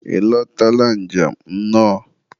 ị lotara njem, nnọọ.